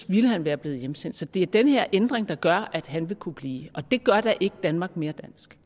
ville han være blevet hjemsendt så det er den her ændring der gør at han vil kunne blive og det gør da ikke danmark mere